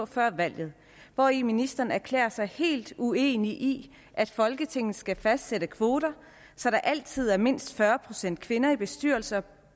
før valget hvori ministeren erklærede sig helt uenig i at folketinget skal fastsætte kvoter så der altid er mindst fyrre procent kvinder i bestyrelser